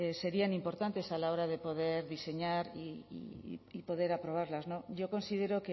serían importantes a la hora de poder diseñar y poder aprobarlas no yo considero